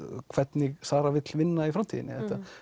hvernig Sara vill vinna í framtíðinni